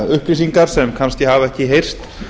upplýsingar sem kannski hafa ekki heyrst